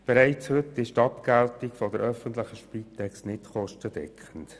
Bereits heute ist die Abgeltung der öffentlichen Spitex nicht kostendeckend.